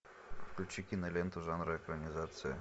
включи киноленту жанра экранизация